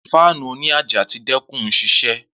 Fáànù òní àjà ti dẹkun siṣẹ